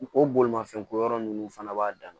O bolimafɛnko yɔrɔ ninnu fana b'a dan na